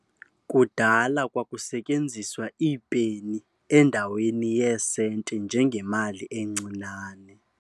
Kudala kwakusetyenziswa iipeni endaweni yeesenti njengemali encinane.